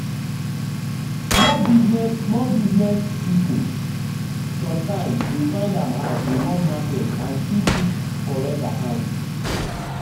small business small business people sometimes dey find am hard to run market and still keep correct account.